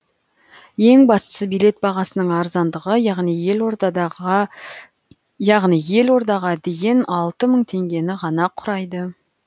ең бастысы билет бағасының арзандығы яғни елордаға дейін алты мың теңгені ғана құрайды